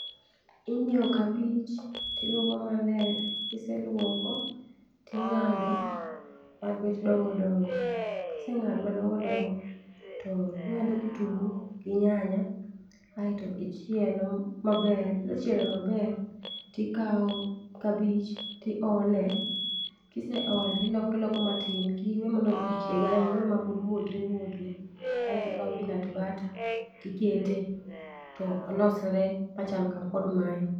Inyiewo kabich tiluoko maler. Kiseluoko ting'ado mabet dongodongo .Kiseng'ado madongodongo ting'ado kitungu gi nyanya kaeto ichielo maber .Kisechielo maber tikawo kabich tiole kiseolo tiloko iloko matin kik iwe mochieg ahinya iwe ma muodre muodre , kae tikawo peanut butter tikete to olosre machal kod mae.